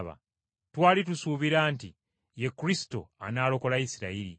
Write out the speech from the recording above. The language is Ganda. Twali tusuubira nti, Ye Kristo anaalokola Isirayiri.